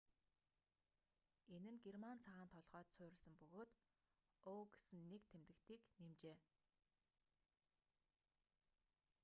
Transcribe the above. энэ нь герман цагаан толгойд суурилсан бөгөөд õ/õ гэсэн нэг тэмдэгтийг нэмжээ